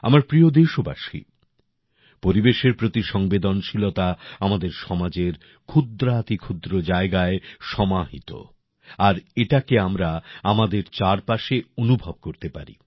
আমার প্রিয় দেশবাসী পরিবেশের প্রতি সংবেদনশীলতা আমাদের সমাজের ক্ষুদ্রাতিক্ষুদ্র জায়গায় সমাহিত আর এটাকে আমরা আমাদের চারপাশে অনুভব করতে পারি